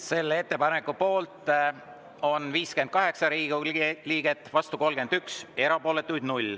Selle ettepaneku poolt on 58 Riigikogu liiget, vastu 31, erapooletuid 0.